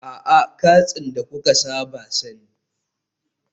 A'a, katsin da kuka saba sani